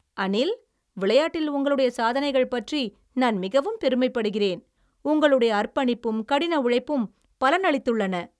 அனில், விளையாட்டில் உங்களுடைய சாதனைகள் பற்றி நான் மிகவும் பெருமைப்படுகிறேன். உங்களுடைய அர்ப்பணிப்பும் கடின உழைப்பும் பலனளித்துள்ளன.